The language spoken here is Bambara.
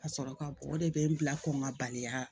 Ka sɔrɔ ka o de bɛ n bila ko n ka baliya